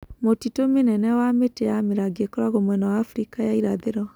Mũtito mĩnene wa mĩtĩ ya mĩrangi ĩkoragwo mwena wa Afrika ya irathĩro.